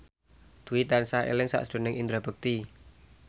Dwi tansah eling sakjroning Indra Bekti